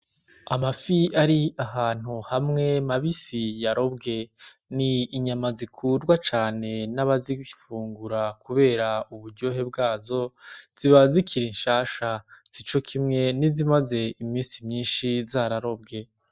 Amafi ari ahantu hamwe mabisi yarobwe, n'inyama zikundwa cane n'abazifungura kubera uburyohe bwazo, ziba zikiri shasha sico kimwe nizimaze iminsi myishi zararobwe .